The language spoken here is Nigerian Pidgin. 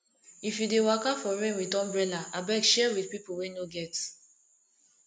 if you dey waka for rain wit umbrella abeg share wit pipu wey no get